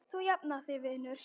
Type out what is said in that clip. Þú jafnar þig vinur.